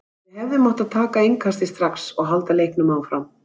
Við hefðum átt að taka innkastið strax og halda leiknum áfram.